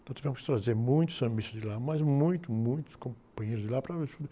Então tivemos que trazer muitos sambistas de lá, mas muitos, muitos companheiros de lá para.